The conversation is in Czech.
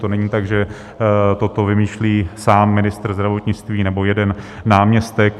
To není tak, že toto vymýšlí sám ministr zdravotnictví nebo jeden náměstek.